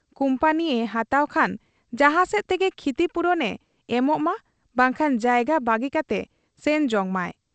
ᱠᱩᱢᱯᱟᱹᱱᱤᱭᱮ ᱦᱟᱛᱟᱣ ᱠᱷᱟᱱ ᱡᱟᱦᱟᱸ ᱥᱮᱫ ᱛᱮᱜᱮ ᱠᱷᱤᱛᱤᱯᱩᱨᱚᱱ ᱮ ᱮᱢᱚᱜ ᱢᱟ ᱵᱟᱝᱠᱷᱟᱱ ᱡᱟᱭᱜᱟ ᱵᱟᱹᱜᱤ ᱠᱟᱛᱮ ᱥᱮᱱ ᱡᱚᱝ ᱢᱟᱭ ᱾